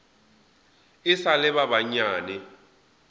e sa le ba banyane